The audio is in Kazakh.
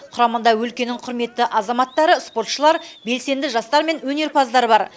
құрамында өлкенің құрметті азаматтары спортшылар белсенді жастар мен өнерпаздар бар